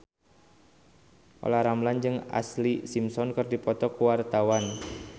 Olla Ramlan jeung Ashlee Simpson keur dipoto ku wartawan